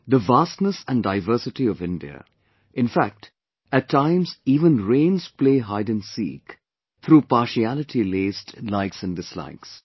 The vastness and diversity of India, in fact, at times even rains play hide & seek through partiality laced likes & dislikes